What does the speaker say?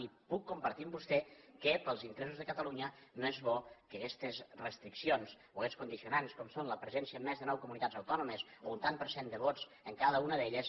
i puc compartir amb vostè que pels interessos de catalunya no és bo que aguestes restriccions o aguests condicionants com són la presència en més de nou comunitats autònomes o un tant per cent de vots en cada una d’elles